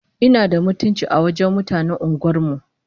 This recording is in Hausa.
Ina da mutunci a wajen mutanen unguwar mu!